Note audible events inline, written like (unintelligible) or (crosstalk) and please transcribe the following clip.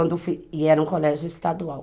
Quando eu (unintelligible) e era um colégio estadual.